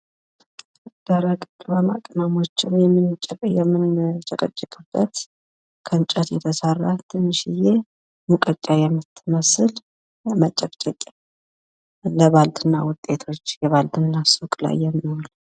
ደረቅ ቅመማ ቅመሞችን የምንጨቀጭቅበት ከእንጨት የተሰራ ትንሽዬ ሙቀጫ የምትመስል መጨቅጨቅያ ለባልትና ውጤቶች የባልትና ሱቅ ላይ የሚውል።